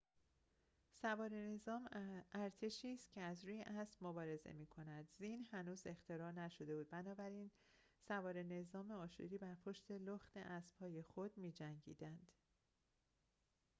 سواره نظام ارتشی است که از روی اسب مبارزه می‌کند زین هنوز اختراع نشده بود بنابراین سواره نظام آشوری بر پشت لخت اسبهای خود می‌جنگیدند